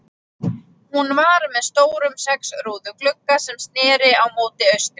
Hún var með stórum sex rúðu glugga, sem sneri móti austri.